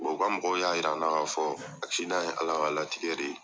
u ka mɔgɔ y'a yira an na k'a fɔ ye ALA ka latigɛ de ye.